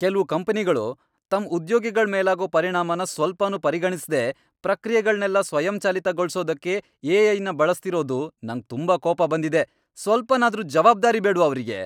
ಕೆಲ್ವು ಕಂಪ್ನಿಗಳು ತಮ್ ಉದ್ಯೋಗಿಗಳ್ ಮೇಲಾಗೋ ಪರಿಣಾಮನ ಸ್ವಲ್ಪನೂ ಪರಿಗಣಿಸ್ದೇ ಪ್ರಕ್ರಿಯೆಗಳ್ನೆಲ್ಲ ಸ್ವಯಂಚಾಲಿತಗೊಳ್ಸೋದಕ್ಕೆ ಎ.ಐ.ನ ಬಳಸ್ತಿರೋದು ನಂಗ್ ತುಂಬಾ ಕೋಪ ಬಂದಿದೆ. ಸ್ವಲ್ಪನಾದ್ರೂ ಜವಾಬ್ದಾರಿ ಬೇಡ್ವಾ ಅವ್ರಿಗೆ!